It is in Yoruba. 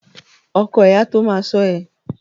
Ọkọ ẹ a tó ma ṣọ́ ẹ.